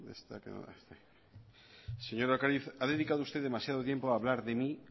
ha dedicado usted demasiado tiempo a hablar de mí